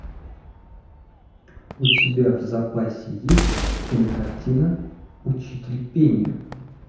у тебя в запасе есть кинокартина учитель пения